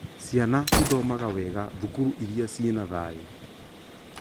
Ciana cithomaga wega thukuru iria cina thayũ